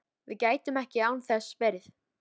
Við gætum ekki án þess verið